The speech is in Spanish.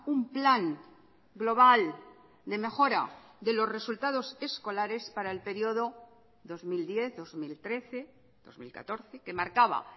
un plan global de mejora de los resultados escolares para el periodo dos mil diez dos mil trece dos mil catorce que marcaba